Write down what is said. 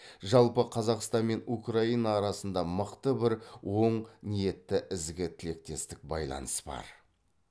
жалпы қазақстан мен украина арасында мықты бір оң ниетті ізгі тілектестік байланыс бар